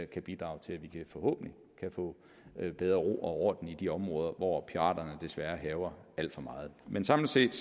kan bidrage til at vi forhåbentlig kan få bedre ro og orden i de områder hvor piraterne desværre hærger alt for meget men samlet set